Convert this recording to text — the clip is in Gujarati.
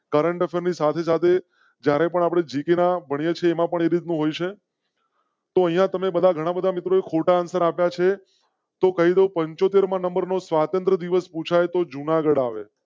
કરંટ ની સાથે સાથે જ્યારે પણ આપણે જીકે ભણીયે છે. તો બધા ઘણા બધા મિત્રો ખોટા આપ્યા છે તો પંચોતેર મા નંબર નો સ્વાતંત્ર દિવસ પૂછા તો જૂનાગઢ આવે.